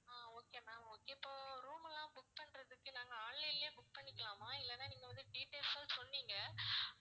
ஆஹ் okay ma'am okay இப்போ room எல்லாம் book பண்றதுக்கு நாங்க online லயே book பண்ணிக்கலாமா இல்லன்னா நீங்க வந்து details ம் சொன்னிங்க